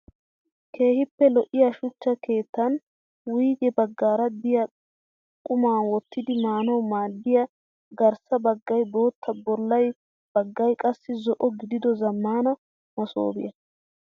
Keehippe lo'iyaa shuchcha keettaan wuyige baggaara diyaa qumaa wottidi maanawu maaddiyaa garssa baggayi bootta bolla baggayi qassi zo"o gidido zammaana masoobiyaa.